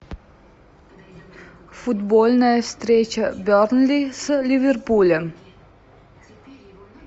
футбольная встреча бернли с ливерпулем